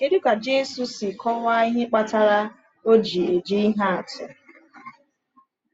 Kedu ka Jésù si kọwaa ihe kpatara o ji eji ihe atụ?